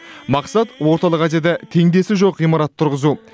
мақсат орталық азияда теңдесі жоқ ғимарат тұрғызу